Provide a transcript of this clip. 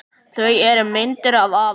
Það eru myndir af afa